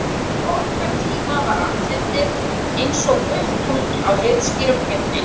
Á okkar tíma var andlitið einsog fullt tungl á heiðskírum himni.